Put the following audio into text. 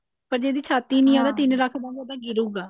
ਪਰ ਜਿਹਦੀ ਛਾਤੀ ਨਹੀ ਹੈ ਉਹਦਾ ਰੱਖ ਤਾਂ ਮੋਢਾ ਗਿਰੁਗਾ